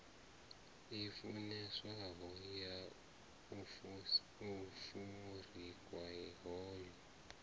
i funeswaho ya afurika yo